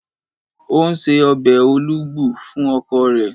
ó ń se obe olugbu fún ọkọ rẹ̀.